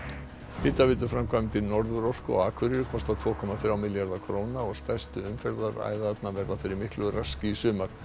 hitaveituframkvæmdir Norðurorku á Akureyri kosta tveir komma þrjá milljarða króna og stærstu umferðaræðarnar verða fyrir miklu raski í sumar